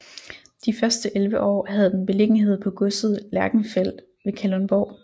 De første 11 år havde den beliggenhed på Godset Lerchenfeld ved Kalundborg